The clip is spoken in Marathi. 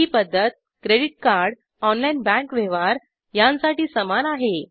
ही पद्धत क्रेडिट कार्ड ऑनलाइन बँक व्यवहार यांसाठी समान आहे